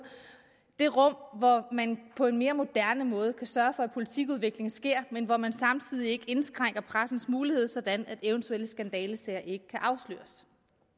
det rum hvor man på en mere moderne måde kan sørge for at politikudvikling sker men hvor man samtidig ikke indskrænker pressens mulighed sådan at eventuelle skandalesager ikke kan afsløres